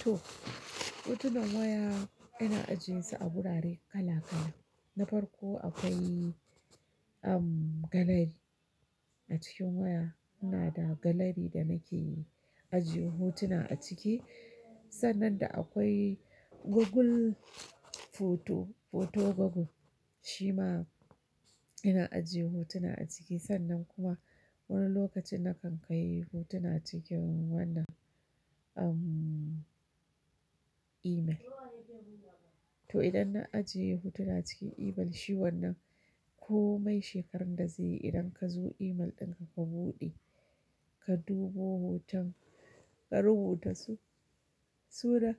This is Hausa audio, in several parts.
To, hotunan waya ina ajiyesu a wurare kala-kala. Na farko akwai, um, galari. A cikin waya ina da galari da nake yi ajiye hotuna a ciki. Sannan da akwai Google Photo, Photo Google shima ina ajiye hotuna a ciki. Sannan kuma wani lokacin na kan kai hotuna cikin wannan, um, email. To, idan na ajiye hotuna cikin email shi wannan, ko mai shekarar da za yi idan ka zo email ɗinka ka buɗe, ka dubo hoton, ka rubuta su, suna,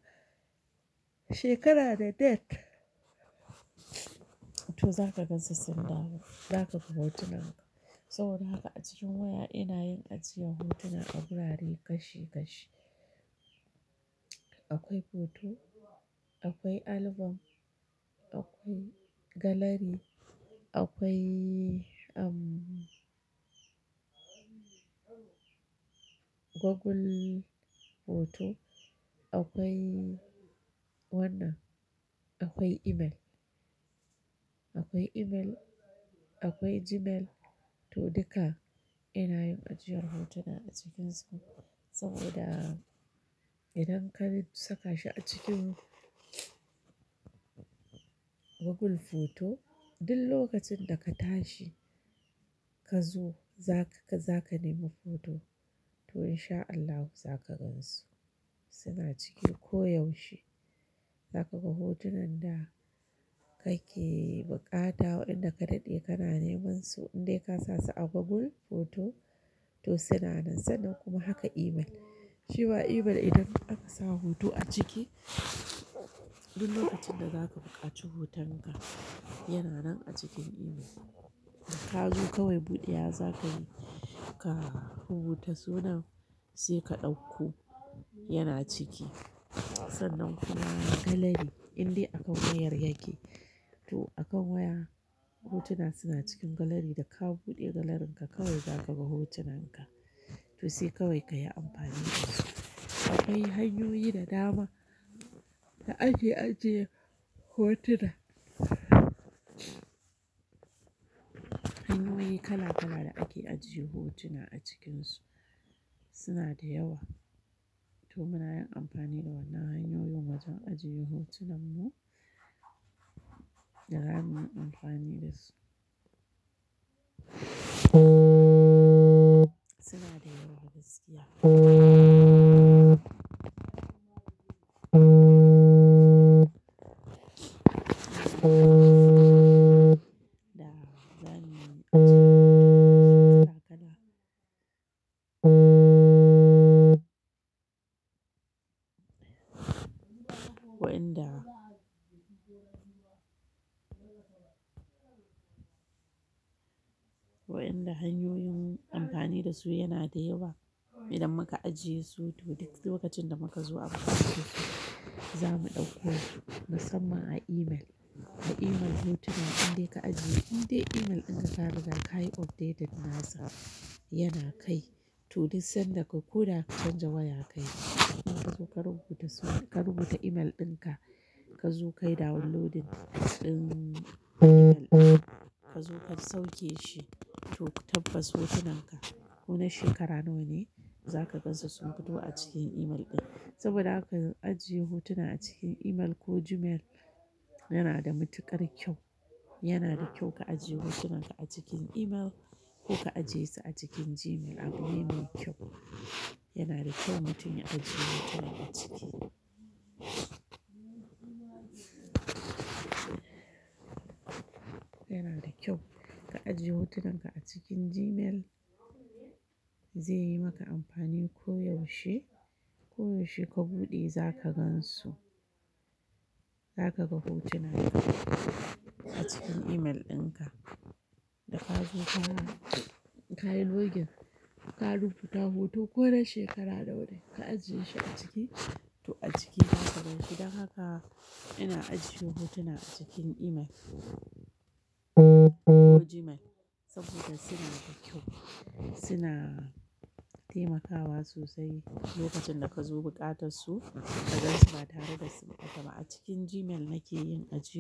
shekara da date, to za ka gan su sun dawo, za ka ga hotunan ka. Saboda haka a cikin waya ina yin ajiyar hotuna a wurare kashi kashi. Akwai photo, akwai album, akwai galari, akwai, um, Google Photo, akwai wannan, akwai email, akwai email, akwai Gmail. To, duka ina yin ajiyar hotuna a cikinsu saboda idan ka saka shi a cikin Google Photo, duk lokacin da ka tashi ka zo za ka, za ka nemi photo to in sha Allah za ka gansu suna ciki koyaushe. Za ka ga hotunan da kake buƙata, waɗanda ka daɗe kana neman su in dai ka sa su a Google Photo to suna nan. Sannan kuma haka email. Shi ma email idan aka sa hoto a ciki, duk lokacin da za ka buƙaci hoton ka yana nan a cikin email. Ka zo kawai buɗe ya za ka yi, ka rubuta sunan sai ka ɗauko yana ciki. Sannan kuma galari in dai akan wayar yake. To, a kan waya hotuna suna cikin galari da ka buɗe galarin ka kawai za ka ga hotunan ka. To, sai kawai ka yi amfani da shi. Akwai hanyoyi da dama da ake ajiye hotuna. Hanyoyi kala-kala da ake ajiye hotuna a cikinsu suna da yawa. To, muna yin amfani da wannan hanyoyin wajen ajiye hotunan mu da gama yin amfani da su. Suna da yawa da suke ya. Da zani ajiye su kala kala. Wa'inda, waƴnda hanyoyin amfani da su yana da yawa. Idan muka ajiye su to duk lokacin da muka zo a buƙace za mu ɗauko su. Musamman a email. A email hotuna in dai ka ajiye, in dai email ɗinka ka riga ka yi updated nasa yana kai, to duk sanda ka koda ka canza wayarka kuma ka zo ka rubuta suna, ka rubuta email ɗinka ka zo ka yi downloading ɗin email ɗin ka zo ka sauke shi. To, tabbas hotunan ka ko na shekara nawa ne za ka gan su sun fito a cikin email ɗin. Saboda haka ajiye hotuna a cikin email ko Gmail yana da matuƙar kyau. Yana da kyau ka ajiye hotunan ka a cikin email ko ka ajiyesu a cikin Gmail abune me kyau. Yana da kyau mutum ya ajiye hotuna a ciki. Yana da kyau ka ajiye hotunan ka a cikin Gmail. Zai yi maka amfani koyaushe. Koyaushe ka buɗe za ka gansu. Za ka ga hotunan ka a cikin email ɗinka. Da ka zo ka yi login ka rubuta hoto ko na shekara da ɗaya ka ajiye shi a ciki to a ciki za ka gan shi. Don haka ina ajiye hotuna a cikin email ko Gmail saboda suna da kyau. Suna taimakawa sosai lokacin da ka zo buƙatar su ka gansu ba tare da su buƙata ba. A cikin Gmail nake yin ajiyar.